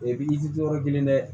O ye bi jɔ yɔrɔ kelen dɛ